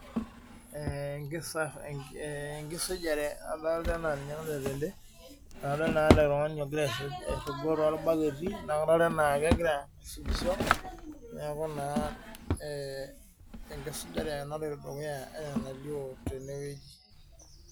Ee enkisujare adolta enaa ninye naloito tende adol naa ele tung'ani ogira airrugo torbaketi naa kadolta enaa kegira aisujishi neeku naa ee enkisujare naloito dukuya enaa enalioo tenwueji.